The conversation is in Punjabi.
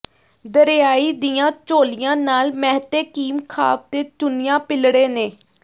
ਦਰਿਆਈ ਦੀਆਂ ਚੋਲੀਆਂ ਨਾਲ ਮਹਿਤੇ ਕੀਮਖਾਬ ਤੇ ਚੁੰਨੀਆਂ ਪੀਲੜੇ ਨੇ